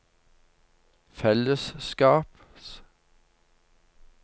fellesskaps